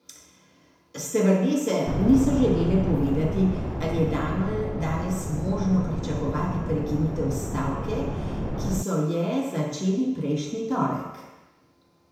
Stevardese niso želele povedati, ali je danes možno pričakovati prekinitev stavke, ki so je začeli prejšnji torek.